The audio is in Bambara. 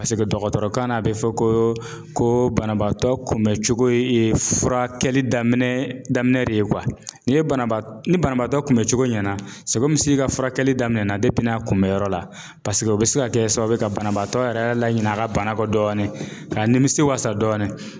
Paseke dɔgɔtɔrɔkan na a bɛ fɔ koo koo banabaatɔ kunbɛ cogo ye furakɛli daminɛ daminɛ de ye . N'i ye banabaat ni banabaatɔ kunbɛ cogo ɲɛna i ka furakɛli daminɛna n'a kunbɛyɔrɔ la paseke o bɛ se ka kɛ sababu ye ka banabaatɔ yɛrɛ laɲin'a ka bana kɔ dɔɔni k'a nimisi wasa dɔɔni.